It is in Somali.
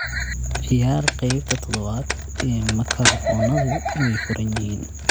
ciyaar qeybta toddobaad ee makarafoonadu way furan yihiin